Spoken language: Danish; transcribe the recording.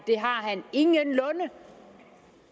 det har han ingenlunde